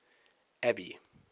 abby